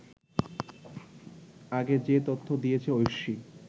আগে যে তথ্য দিয়েছে ঐশী